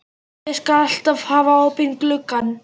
Ég skal alltaf hafa opinn gluggann.